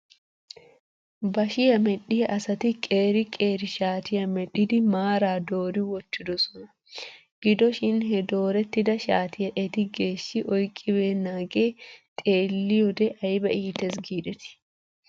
Bashiyaa medhdhiyaa asati qeeri qeeri shaatiyaa medhdhidi maaraa doori wottidosona. Gido shin he doorettida shaatiyaa eti geeshshi oyqqibeenaagee xeeliyoode ayba iites giidetii?